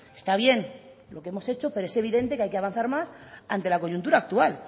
está bien lo que hemos hecho pero es evidente que hay que avanzar más ante la coyuntura actual